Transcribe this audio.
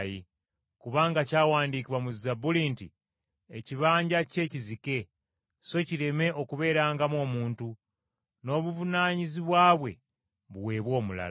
“Kubanga kyawandiikibwa mu Zabbuli nti, “ ‘Ekibanja kye kizike, so kireme okubeerangamu omuntu.’ ‘N’obuvunaanyizibwa bwe buweebwe omulala.’